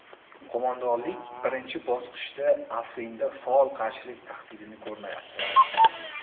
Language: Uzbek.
Qo‘mondonlik birinchi bosqichda Afrinda faol qarshilik tahdidini ko‘rmayapti.